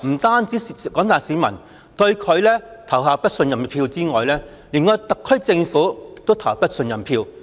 她除了令廣大市民對她投下不信任票之外，連對特區政府亦投下不信任票。